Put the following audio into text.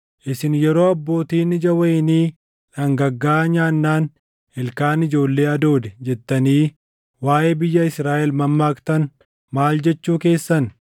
“Isin yeroo, “ ‘Abbootiin ija wayinii dhangaggaaʼaa nyaannaan, ilkaan ijoollee hadoode’ jettanii waaʼee biyya Israaʼel mammaaktan, maal jechuu keessan?